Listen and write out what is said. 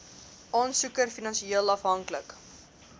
aansoeker finansieel afhanklik